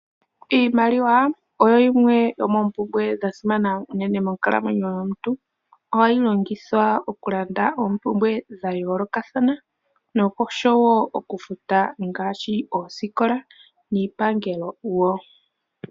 Iimaliwa opo yimwe yo moompumbwe dha simana unene monkalamwenyo yomuntu. Ohayi longithwa okulanda oompumbwe dha yoolokathana noshowo okufuta ngaashi oosikola niipangelo wo.